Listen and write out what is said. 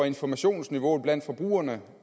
informationsniveauet blandt forbrugerne